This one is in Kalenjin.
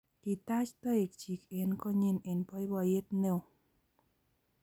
Kotach toek chik eng' konyin eng' poipoiyet ne oo